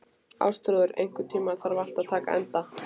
Ástþrúður, einhvern tímann þarf allt að taka enda.